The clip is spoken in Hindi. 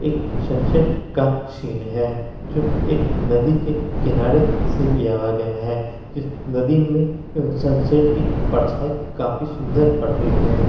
एक सनसेट का सीन है जो एक नदी के किनारे से लिया वा गया है इस नदी में अ सनसेट की परछाई काफी सुंदर पड़ रही है।